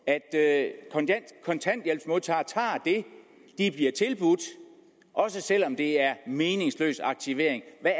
at kontanthjælpsmodtagere tager det de bliver tilbudt også selv om det er meningsløs aktivering jeg